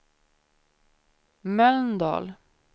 Mölndal